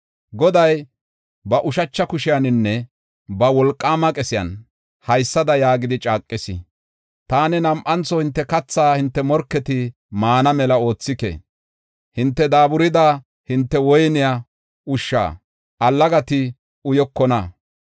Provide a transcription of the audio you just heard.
Goday ba ushacha kushiyaninne ba wolqaama qesiyan haysada yaagidi caaqis: “Taani nam7antho hinte katha hinte morketi maana mela oothike. Hinte daaburida hinte woyne ushsha allagati uyokona.